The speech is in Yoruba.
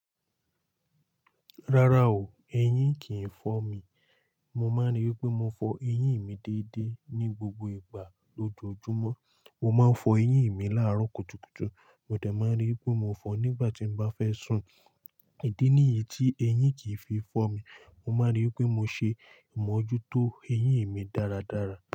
Rárá o, eyín kìí fọ́ mi. Mo máa ń ríi wipé mo fọ eyín mi déédé ní gbogbo ìgbà lójoojúmọ́. Mo máa ń fọ eyín mi láàárọ̀ kùtùkùtù, mo dẹ máa ń ríi pé mo fọ nígbà tí n bá fẹ́ sùn. Ìdí nìyí tí eyín kìí fi fọ́ mi. Mo máa ń ríi wipé mo ṣe ìmojútó eyín mi dáradára.